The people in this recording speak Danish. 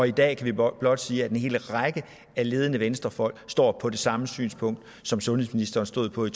i dag kan vi blot blot sige at en hel række ledende venstrefolk står på det samme synspunkt som sundhedsministeren stod på i